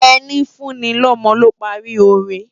Eni fùni lòmò ló pári óré